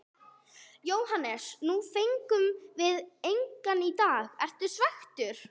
Jóhannes: Nú fengum við engan í dag, ertu svekktur?